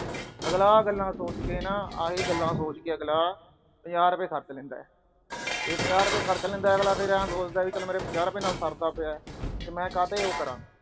ਅਗਲਾ ਆਹ ਗੱਲਾਂ ਸੋਚ ਕੇ, ਆ ਹੀ ਗੱਲਾਂ ਸੋਚ ਕੇ ਅਗਲਾ ਪੰਜਾਹ ਰੁਪਏ ਖਰਚ ਲੈਂਦਾ। ਇਹ ਪੰਜਾਹ ਰੁਪਏ ਖਰਚ ਲੈਂਦਾ, ਫਿਰ ਸੋਚ ਲੈਂਦਾ ਮੇਰਾ ਪੰਜਾਹ ਰੁਪਏ ਨਾਲ ਸਰਦਾ ਪਿਆ ਤੇ ਮੈਂ ਕਾਹਤੇ ਉਹ ਕਰਾ।